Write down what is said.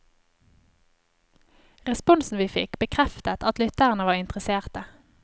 Responsen vi fikk, bekreftet at lytterne var interesserte.